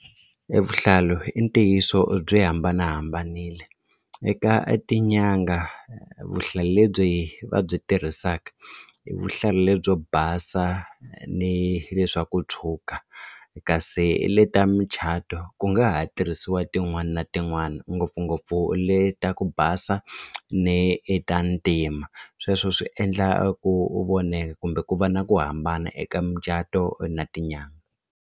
Evuhlalu i ntiyiso byi hambanahambanile eka tinyanga vuhlalu lebyi va byi tirhisaka i vuhlalu lebyi basa ni le swa ku tshwuka kasi le ta muchato ku nga ha tirhisiwa tin'wana na tin'wana ngopfungopfu le ta ku basa ni ta ntima sweswo swi endla ku u voneka kumbe ku va na ku hambana eka mucato na tinyangha.